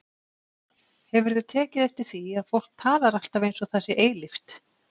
Hefurðu tekið eftir því að fólk talar alltaf eins og það sé eilíft?